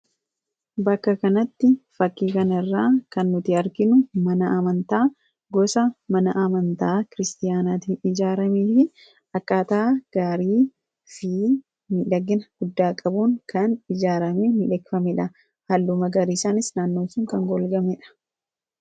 bakka kanatti fakkiikanirraa kan nuti harkinu mana amantaa gosa mana amantaa kiristiyaanaatiin ijaaramiifi akaataa gaarii fi nidhagina guddaa-qabuun kan ijaarame ni dheekfameedha halluma gariisaanis naannoosun kan golgameedha